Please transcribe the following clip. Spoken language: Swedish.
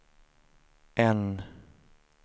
N